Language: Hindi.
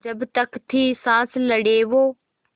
जब तक थी साँस लड़े वो